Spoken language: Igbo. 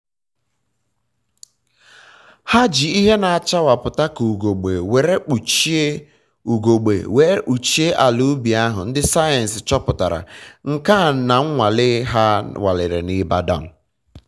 ha ji ihe na achawapụta ka ugegbe were kpuchie ugegbe were kpuchie ala ubi ha. ndị sayensị chọpụtara nke a na nnwale ha nwalere na ịbadan